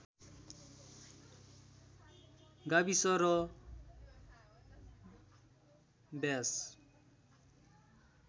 गाविस र व्यास